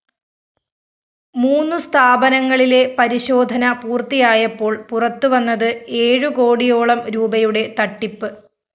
മൂന്നു സ്ഥാപനങ്ങളിലെ പരിശോധന പൂര്‍ത്തിയായപ്പോള്‍ പുറത്തുവന്നത് ഏഴുകോടിയോളം രൂപയുടെ തട്ടിപ്പ്